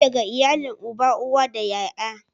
Ni daga iyalin uba, uwa da ƴaƴa.